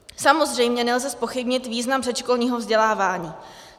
Samozřejmě nelze zpochybnit význam předškolního vzdělávání.